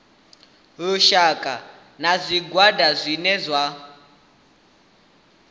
lushaka na zwigwada zwine zwa